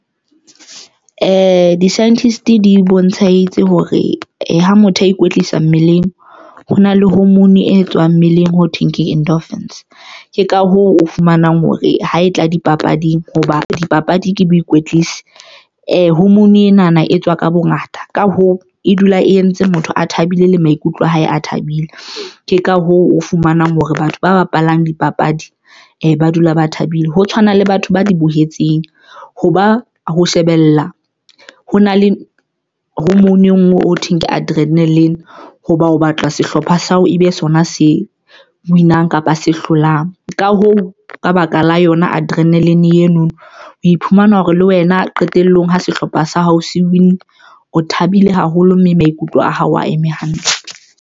Di-scientist di bontshahetse hore ha motho a ikwetlisa mmeleng ho na le hormone e tswang mmeleng ho thweng ke endorphins ke ka hoo o fumanang hore ha e tla dipapading hoba dipapadi ke boikwetlise hormone ena na e tswa ka bongata, ka hoo, e dula e entse motho a thabile le maikutlo a hae a thabile. Ke ka hoo, o fumanang hore batho ba bapalang dipapadi ba dula ba thabile ho tshwana le batho ba di behetseng. Hoba ho shebella ho na le ho mono e nngwe o thweng ke adrenalin hoba o batlwa sehlopha sa hao, ebe sona se win-ang kapa a se hlolang, ka hoo ka baka la yona adrenalin eno, o iphumana hore le wena qetellong ha sehlopha sa hao se win-ne o thabile haholo mme maikutlo a hao a eme hantle.